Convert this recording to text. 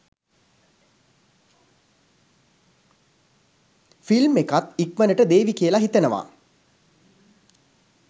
Film එකත් ඉක්මනට දේවි කියල හිතනවා.